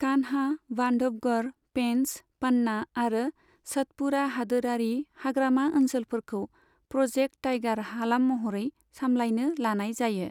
कान्हा, बांधवगढ़, पेंच, पन्ना आरो सतपुड़ा हादोरारि हाग्रामा ओनसोलफोरखौ प्रोजेक्ट टाइगार हालाम महरै सामलायनो लानाय जायो।